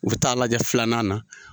U bi taa lajɛ filanan na.